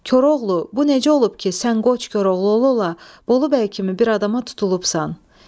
Koroğlu, bu necə olub ki, sən Qoç Koroğlu ola-ola Bolu bəy kimi bir adama tutulubsan?